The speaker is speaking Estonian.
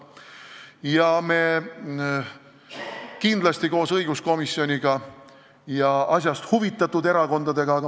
Kindlasti me tegeleme selle teemaga koos õiguskomisjoniga ja asjast huvitatud erakondadega edasi.